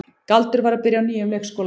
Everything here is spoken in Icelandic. Galdur var að byrja á nýjum leikskóla.